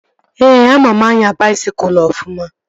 Ee, ama m anya baisikụl ofụma